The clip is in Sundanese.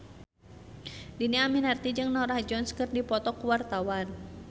Dhini Aminarti jeung Norah Jones keur dipoto ku wartawan